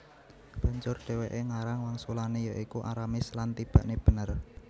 Banjur dhèwèké ngarang wangsulané ya iku Aramis lan tibakné bener